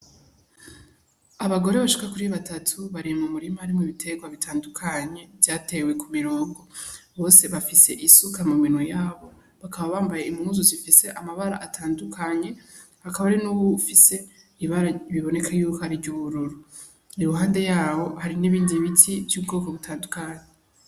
Abagore bashika kuri batatu bari mu murima harimwo ibiterwa bitandukanye vyatewe kumirogo bose bafise isuka mu minwe yabo bakaba bambaye impuzu zifise amabara atandukanye hakaba hari n'uwufise ibara biboneke yuko ari ry'ubururu iruhande yabo hari n'ibindi biti vy'ubwoko butandukanye.